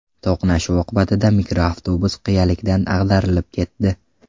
To‘qnashuv oqibatida mikroavtobus qiyalikdan ag‘darilib ketdi.